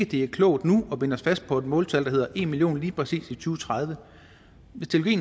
det er klogt nu at binde os fast på et måltal der hedder en million lige præcis i to tredive